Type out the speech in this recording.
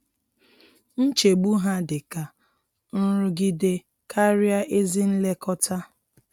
Nchegbu ha dị ka nrụgide karịa ezi nlekọta.